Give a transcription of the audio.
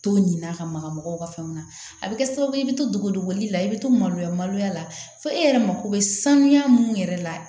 To ɲi n'a ka magaw ka fɛnw na a bɛ kɛ sababu ye i bɛ to dogo dogoli la i bɛ to maloya maloya la fo e yɛrɛ mako bɛ sanuya minnu yɛrɛ la